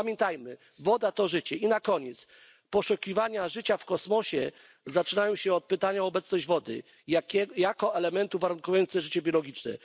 Pamiętajmy woda to życie! I na koniec Poszukiwania życia w kosmosie zaczynają się od pytania o obecność wody jako elementu warunkującego życie biologiczne.